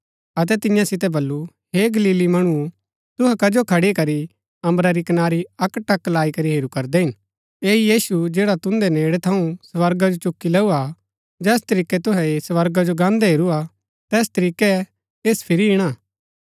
अतै तियां सितै बल्लू हे गलीली मणुओ तुहै कजो खड़ी करी अम्बरा री कनारी अक्कटक लाई करी हेरू करदै हिन ऐह यीशु जैडा तुन्दै नेड़ै थऊँ स्वर्गा जो चुकी लैऊ हा जैस तरीकै तुहै ऐह स्वर्गा जो गान्दा हेरू हा तैस तरीकै ऐस फिरी ईणा